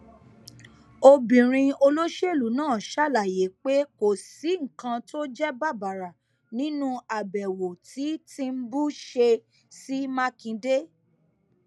obìnrin olóṣèlú náà ṣàlàyé pé kò sí nǹkan tó jẹ bàbàrà nínú àbẹwò tí tìǹbù ṣe sí mákindé